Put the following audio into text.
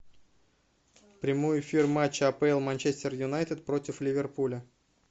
прямой эфир матча апл манчестер юнайтед против ливерпуля